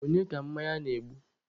Onye ka mmanya na-egbu?